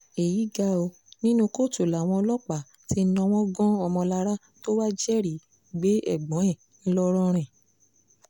èyí ga ọ́ nínú kóòtù làwọn ọlọ́pàá ti náwó gan ọmọlára tó wàá jẹ́rìí gbé ẹ̀gbọ́n ẹ ńlọrọrin